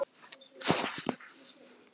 Þeir sem skara fram úr í námi.